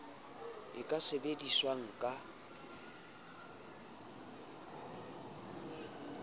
e ka sebedi swang ka